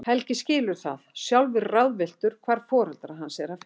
Helgi skilur það, sjálfur ráðvilltur hvar foreldra hans er að finna.